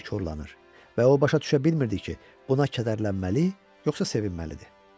Nəsə korlanır və o başa düşə bilmirdi ki, buna kədərlənməli, yoxsa sevinməlidir.